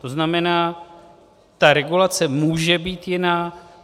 To znamená, ta regulace může být jiná.